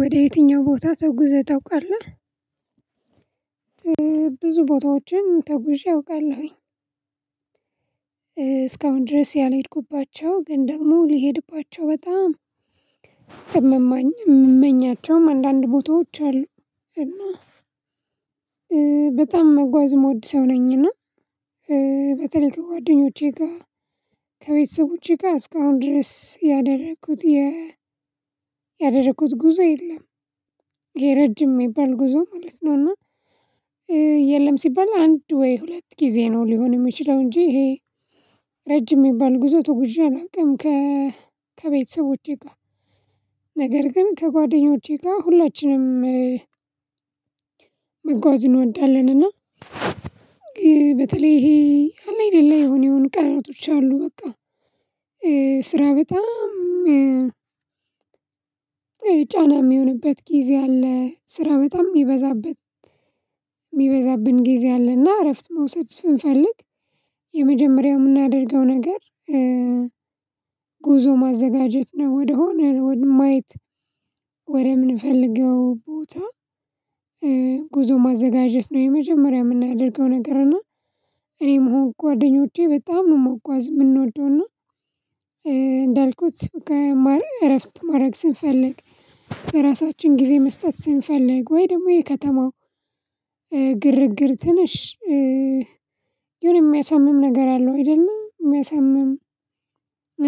ወደ የትኛው ቦታ ተጉዘህ ታውቃለህ? ብዙ ቦታዎችን ተጉዤ አውቃለሁኝ። እስካሁን ድረስ ያልሄድኩባቸው ግን ደግሞ ሊሄድባቸው በጣም የምመኛቸውም አንዳንድ ቦታዎች አሉ። በጣም መጓዝ ምወድ ሰው ነኝ። እና በተለይ ከጓደኞቼ ጋር ከቤተሰቦቼ ጋር እስካሁን ድረስ ያደረኩት ያደረኩት ጉዞ የለም። ይሄ ረጅም የሚባል ጉዞ ማለት ነው። እና የለም ሲባል አንድ ወይ ሁለት ጊዜ ነው ሊሆን የሚችለው እንጂ ይሄ ረጅም የሚባል ጉዞ ተጉዤ አላውቅም። ከቤተሰቦቼ ጋር ነገር ግን ከጓደኞቼ ጋር ሁላችንም መጓዝ እንወዳለን። እና በተለይ ይሄ አይደለም ላይ የሆነ የሆኑ ቀናቶች አሉ። በቃ ስራ በጣም ጫና የሚሆንበት ጊዜ አለ። ስራ በጣም የሚበዛበት የሚበዛብን ጊዜ አለና እረፍት መውሰድ ስንፈልግ የመጀመሪያው የምናደርገው ነገር ጉዞ ማዘጋጀት ነው። ወደሆነ ወደማየት ወደምንፈልገው ቦታ ጉዞ ማዘጋጀት ነው። የመጀመሪያ የምናደርገው ነገር እና እኔም ሆንኩ ጓደኞቼ በጣም ነው መጓዝ የምንወደው። እና እንዳልኩት እረፍት ማድረግ ስንፈልግ ራሳችን ጊዜ መስጠት ስንፈልግ ወይ ደግሞ የከተማው ግርግር ትንሽ የሆነ የሚያሳምም ነገር አለው አይደለ የሚያሳምም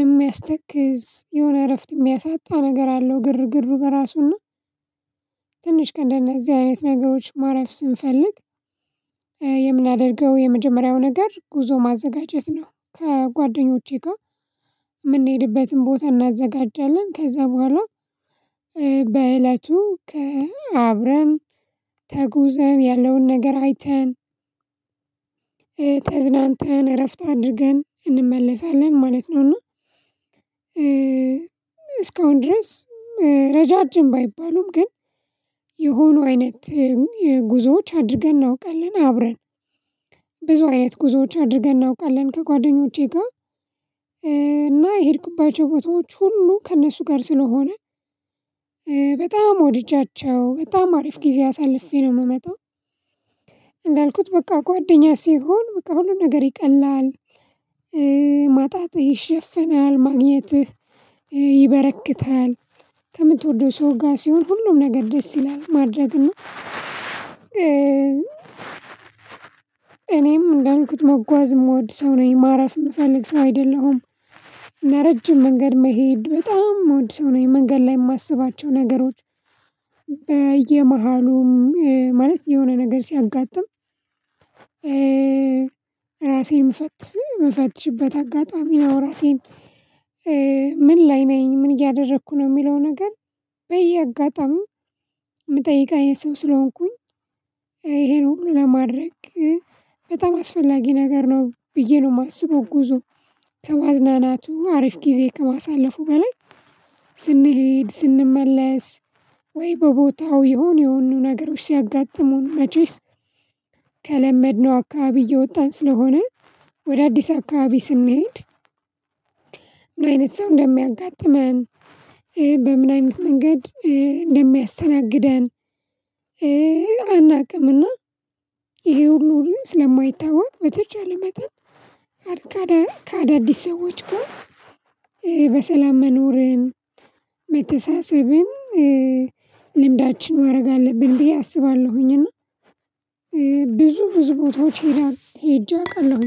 የሚያስተክዝ የሆነ እረፍት የሚያሳጣ ነገር አለው። ግርግር በራሱ እና ትንሽ ከነ እንደነዚህ አይነት ነገሮች ማረፍ ስንፈልግ የምናደርገው የመጀመሪያው ነገር ጉዞ ማዘጋጀት ነው። ከጓደኞቼ ጋር የምንሄድበትን ቦታ እናዘጋጃለን። ከዛ በኋላ በእለቱ አብረን ተጉዘን ያለውን ነገር አይተን ተዝናንተን እረፍት አድርገን እንመለሳለን ማለት ነው። እና እስካሁን ድረስ ረዣዥም ባይባሉም ግን የሆነው አይነት ጉዞዎች አድርገን እናውቃለን አብረን ብዙ አይነት ጉዞዎች አድርገን እናውቃለን። ከጓደኞቼ ጋር እና የሄድኩባቸው ቦታዎች ሁሉ ከእነሱ ጋር ስለሆነ በጣም ወድጃቸው በጣም አሪፍ ጊዜ አሳልፌ ነው የምመጣው። እንዳልኩት በቃ ጓደኛ ሲሆን በቃ ሁሉ ነገር ይቀላል ማጣትህ ይሸፍናል ማግኘትህ ይበረክታል። ከምትወደው ሰው ጋር ሲሆን ሁሉም ነገር ደስ ይላል ማድረግ እኛ እኔም እንዳልኩት መጓዝ የምወድ ሰው ነኝ ማረፍ የምፈልግ ሰው አይደለሁም። ረጅም መንገድ መሄድ በጣም መወድ ሰው ነኝ። መንገድ ላይ የማስባቸው ነገሮች በየመሃሉም ማለት የሆነ ነገር ሲያጋጥም ራሴን መፈትሽበት አጋጣሚ ነው። ራሴን ምን ላይ ነኝ ምን እያደረኩ ነው የሚለው ነገር በየአጋጣሚው የምጠይቅ አይነት ሰው ስለሆንኩኝ ይሄንን ለማድረግ በጣም አስፈላጊ ነገር ነው። ብዬ ነው የማስበው። ጉዞ ከማዝናናቱ አሪፍ ጊዜ ከማሳለፉ በላይ ስንሄድ ስንመለስ ወይ በቦታው የሆኑ የሆኑ ነገሮች ሲያጋጥሙን መቼስ አካባቢ እየወጣን ስለሆነ ወደ አዲስ አካባቢ ስንሄድ ምን አይነት ሰው እንደሚያጋጥመን በምን አይነት መንገድ እንደሚያስተናግደን አናውቅም። እና ይሄውን ኑሮ ስለማይታወቅ በተቻለ መጠን ከአዳዲስ ሰዎች ጋር በሰላም መኖርን መተሳሰብን ልምዳችን ማድረግ አለብን ብዬ አስባለሁኝ። እና ብዙ ብዙ ቦታዎች ሄጄ አውቃለሁኝ።